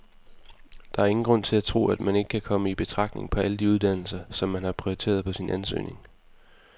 Der er ingen grund til at tro, at man ikke kommer i betragtning på alle de uddannelser, som man har prioriteret på sin ansøgning.